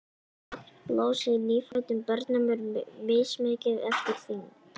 magn blóðs í nýfæddum börnum er mismikið eftir þyngd